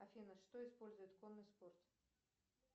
афина что использует конный спорт